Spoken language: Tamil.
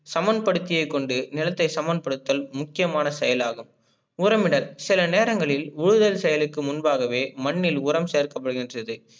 சமன் படுத்திய கொண்டு நிலத்தை சமன் படுத்தல் முக்கியமான செயலாகும். உரமிடல் சில நேரங்களில் உழுதல் செயலுக்கு முன்பாகவே மண்ணில் உரம் சேர்க்கப்படுகின்றது.